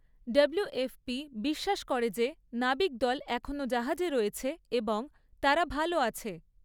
WFP বিশ্বাস করে যে নাবিকদল এখনও জাহাজে রয়েছে এবং তারা 'ভালো' আছে।